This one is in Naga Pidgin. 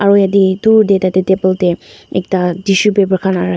aru yatae dur tae tatae table tae ekta tissue paper khan la rakhi--